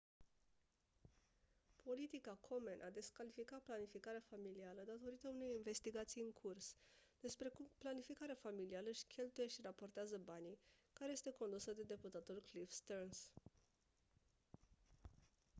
politica komen a descalificat planificarea familială datorită unei investigații în curs despre cum planificarea familială își cheltuie și raportează banii care este condusă de deputatul cliff stearns